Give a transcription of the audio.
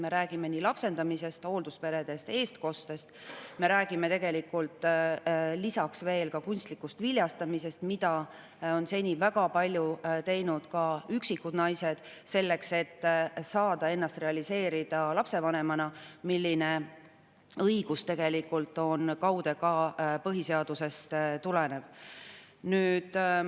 Me räägime lapsendamisest, hooldusperedest, eestkostest, me räägime lisaks kunstlikust viljastamisest, mida on seni väga palju ka üksikud naised selleks, et saada ennast realiseerida lapsevanemana, kusjuures see õigus tegelikult on kaude ka põhiseadusest tulenev.